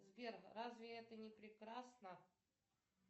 сбер разве это не прекрасно